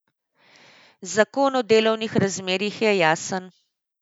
Zakon o delovnih razmerjih je jasen.